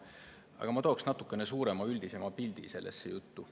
Aga ma tooks natukene suurema, üldisema pildi sellesse juttu.